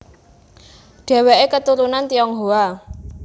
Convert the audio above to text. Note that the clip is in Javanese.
Dheweke keturunan Tionghoa